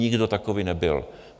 Nikdo takový nebyl.